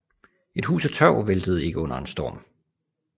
Et hus af tørv væltede ikke under en storm